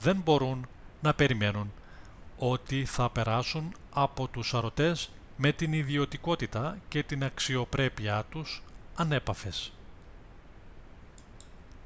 δεν μπορούν να περιμένουν ότι θα περάσουν από τους σαρωτές με την ιδιωτικότητα και την αξιοπρέπειά τους ανέπαφες